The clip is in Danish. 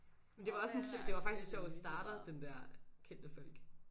Men det var også en det var faktisk en sjov starter den der kendte folk